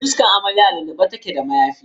Fuskar amaryar a lullube take da mayafi.